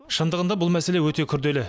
шындығында бұл мәселе өте күрделі